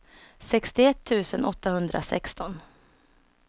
sextioett tusen åttahundrasexton